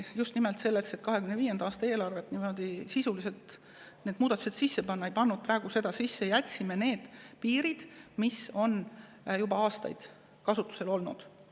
Just nimelt selleks, et 2025. aasta eelarvesse muudatused sisse panna, me jätsime need piirid, mis on juba aastaid kasutusel olnud.